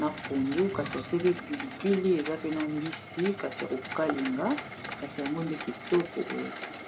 na pondu kasi batie pe pilipili eza pena mbisi kasi ya kokalinga kasi yango nde kitoko boye.